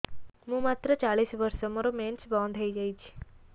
ମୁଁ ମାତ୍ର ଚାଳିଶ ବର୍ଷ ମୋର ମେନ୍ସ ବନ୍ଦ ହେଇଯାଇଛି